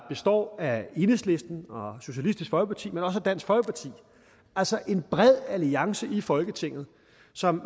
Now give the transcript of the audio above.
består af enhedslisten socialistisk folkeparti men også af dansk folkeparti altså en bred alliance i folketinget som